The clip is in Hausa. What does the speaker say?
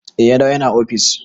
Eh ya dawo ya na ofis.